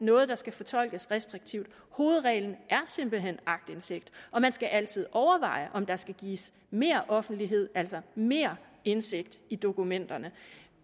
noget der skal fortolkes restriktivt hovedreglen er simpelt hen aktindsigt og man skal altid overveje om der skal gives mere offentlighed altså mere indsigt i dokumenterne